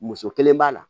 Muso kelen b'a la